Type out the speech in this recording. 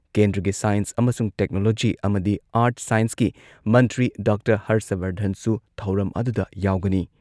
ꯀꯦꯟꯗ꯭꯭ꯔꯒꯤ science ꯑꯃꯁꯨꯡ technology ꯑꯃꯗꯤ art ꯁꯥꯢꯟꯁꯀꯤ ꯃꯟꯇ꯭ꯔꯤ ꯗꯥꯛꯇꯔ ꯍꯔꯁꯕꯔꯙꯟꯁꯨ ꯊꯧꯔꯝ ꯑꯗꯨꯗ ꯌꯥꯎꯒꯅꯤ꯫